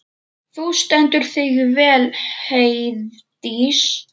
Þú stendur þig vel, Heiðdís!